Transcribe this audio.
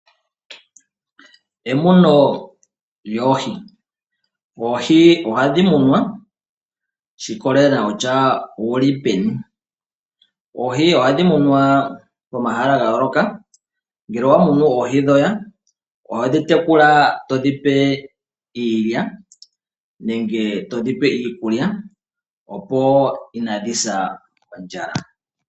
Emuno lyoohi Oohi ohadhi munwa shi ikolelela kutya owu li peni. Oohi ohadhi munwa pomahala ga yooloka. Ngele owa munu oohi dhoye ohodhi tekula to dhi pe iilya nenge to dhi pe iikulya, opo kaadhi se kondjala.